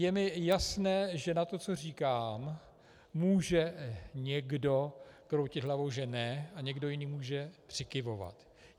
Je mi jasné, že nad tím, co říkám, může někdo kroutit hlavou, že ne, a někdo jiný může přikyvovat.